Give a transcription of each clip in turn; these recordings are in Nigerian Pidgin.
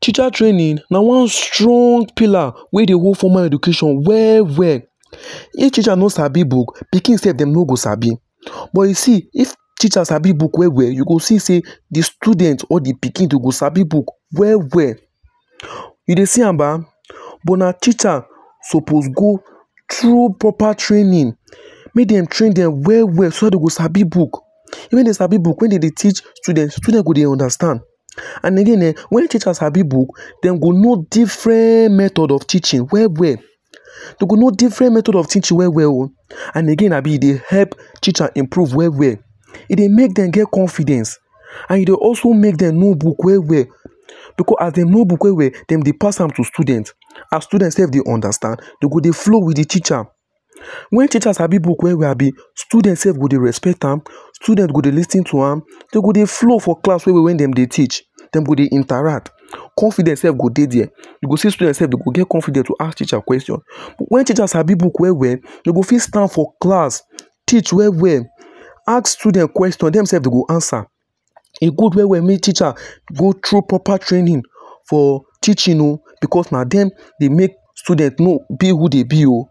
Teacher training na one strong pillar wey dey hold formal education well well if teacher no Sabi book pikin sef dem no go Sabi but you see if teacher Sabi book well well you go see say the student or the pikin dem go Sabi book well well you dey see am na but teacher suppose go through proper training male dem train dem well well so that dem go Sabi book when dem Sabi book when dey teach student student go dey understand and again wen teacher Sabi book dem go know different method of teaching well well we go know different method of teaching well well and again abi e dey help teacher improve well well e dey make dem get confidence and e dey also make dem Sabi book well well because as dem know book well well dem dey pass am to student as student sef dey understand dem go dey flow with the teachers wen teachers Sabi book students go dey respect am student go dey lis ten to am dem go dey flow for class well well Wen dem dey teach dem go dey interact confidence sef go dey there you go see student sef dem go dey there you go see student sef dem go dey confident to ask teacher question when teacher Sabi book well well dem go fit stand for class teach well well and ask student question dem sef dem go dey answer e good well well make teacher go through proper training for teaching oo because na dem dey make student know be who dey be oo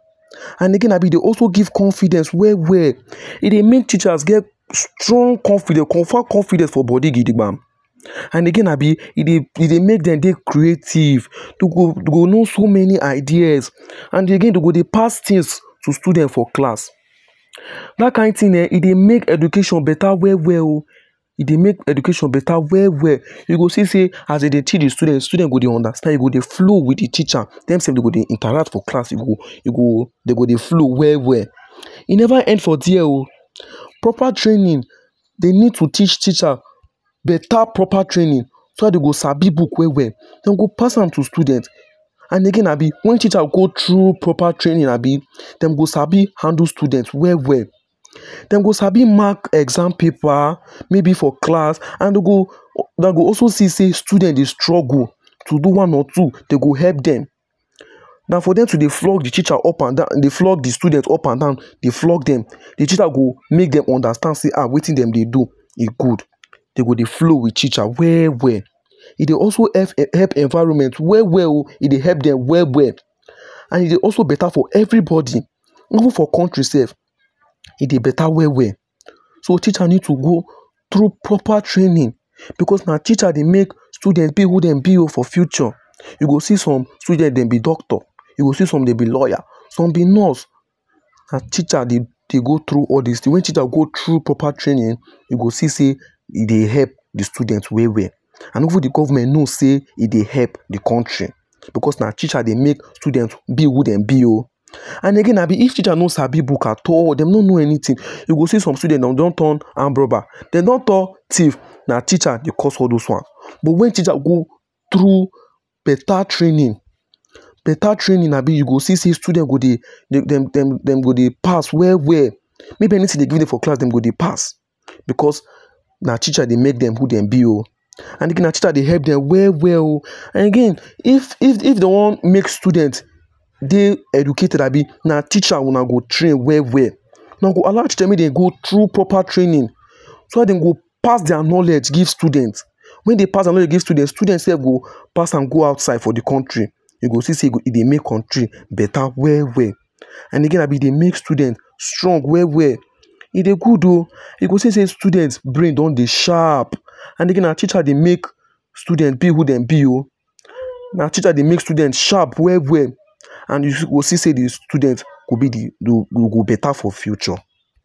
and again ahh abi dey also give confidence well well e dey make teacher get strong confidence confirm confidence of body gidigbam and again abi e dey e dey make them dey creative you go know so many ideas and again dem go dey pass things to student for class that kind thing eh e dey make education better well well e dey make education better well well dem go see say as dem dey teach the student say dem go dey understand e go dey flow with the teacher dem sef dem go dey interact for class dem go dey flow well e never end for there oo proper training they need to teach teacher better proper training so that d go Sabi book well well dem go pass am to student and again abi wen teacher go through proper training abi dem go Sabi handle student well well dem go Sabi mark exam paper maybe for class and dey go Una go also see say student dey struggle to do one or two dem go help dem than for them to dey flog the teacher up and down dey flog the student up and down flog dem the teacher go make dem understand say wetin dem dey do e good dem go dey flow with teacher well well e dey also help environment well well o e dey help dem well well and e dey also better for everybody even for country sef e dey better well well so teacher need proper training because na teacher dey make student be who dem be o for future you go see some student dem be doctor you go see some dem be lawyer some be nurse na teacher dey go through all this things when teacher go through proper training you go see say e dey help the student well well Nd even the government knows say e dey help the country because na teacher dey make student be who dem be oo and again abi if teacher no Sabi book at all dem no know anything dem go see some student dem go down turn armed robber dem don turn thief na teacher dey cause all those ones but when teacher go through better training better training a I you go see say student go dey dem dem go dey pass well well maybe anything dey do dem for class dem go dey pass because na teacher dey make dem who dem be oo again na teacher dey help dem well well oo and again if of dem wan make student dey educated abi na teacher Una go train well well dem go allow teacher make dem go through proper training so that dem go pass their knowledge give student Wen dey pass their knowledge give student students sef go pass am go outside for the country you go see say e dey make country better well well and again abi e dey make student strong well well e dey good o you go see say student brain don dey sharp and again na teacher dey make student be who dem be o na teacher dey make student sharp well well and you go see say the student go be dem go better for future